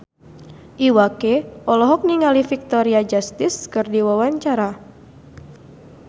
Iwa K olohok ningali Victoria Justice keur diwawancara